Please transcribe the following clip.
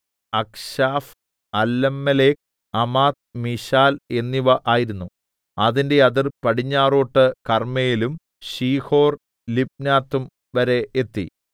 Achshaph Allammelech Amad Misheal എന്നിവ ആയിരുന്നു അതിന്റെ അതിർ പടിഞ്ഞാറോട്ടു കർമ്മേലും ശീഹോർലിബ്നാത്തും വരെ എത്തി